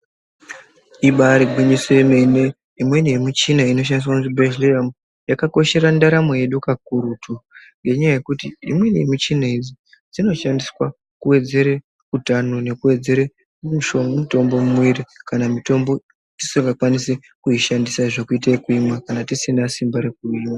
Ibari gwinyiso yemene imweni yemichina inoshandiswa muchibhedhlera yakakoshera ndaramo yedu, kakurutu ngenyaya yekuti imweni yemichina idzi dzinoshandiswa kuwedzere utano, nekuwedzere mutombo mumwiri kana mitombo tisikakwanisi kuishandisa kuita zvekumwa kana tisina simba rekuimwa.